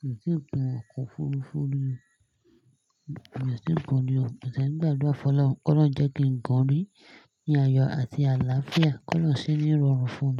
Mi ò tíì gun ọkọ̀ òfurufú rí o. Mi ò tíì gun rìí o. Mo ti e ń gbàdúrà fún Ọlọ́run, kó lọ̀run jẹ́ kí n gun rí ní ayọ̀ àti àlàáfíà, kó l'Ọ̀run ṣe ní ìrọ̀rùn fún mi.